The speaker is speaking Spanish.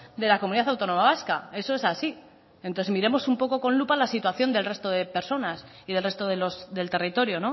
de la comunidad autónoma vasca eso es así entonces miremos un poco con lupa la situación del resto de personas y del resto del territorio